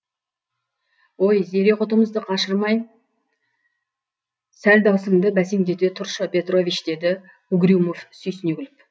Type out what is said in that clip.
ой зере құтымызды қашырмай сәл дауысыңды бәсеңдете тұршы петрович деді угрюмов сүйсіне күліп